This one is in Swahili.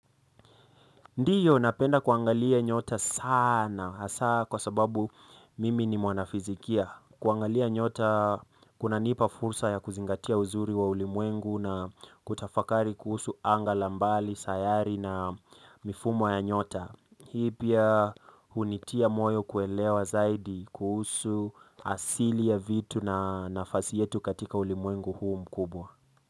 Ndiyo, napenda kuangalia nyota sana, hasa kwa sababu mimi ni mwanafizikia. Kuangalia nyota, kunanipa fursa ya kuzingatia uzuri wa ulimwengu na kutafakari kuhusu anga la mbali, sayari na mifumo ya nyota. Hii pia hunitia moyo kuelewa zaidi kuhusu asili ya vitu na nafasi yetu katika ulimwengu huu mkubwa.